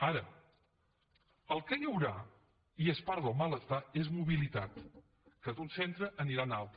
ara el que hi haurà i és part del malestar és mobilitat que d’un centre aniran a un altre